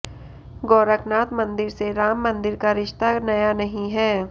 गोरखनाथ मंदिर से राम मंदिर का रिश्ता नया नहीं है